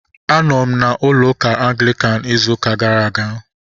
Anọ m na ụlọ ụka Anglikan ịzụ ụka gara aga